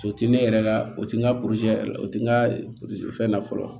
O ti ne yɛrɛ la o tɛ n ka yɛrɛ la o tɛ n ka fɛn na fɔlɔ